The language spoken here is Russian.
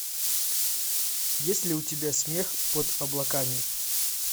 есть ли у тебя смех под облаками